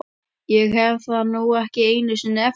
Ég hef það nú ekki einu sinni eftir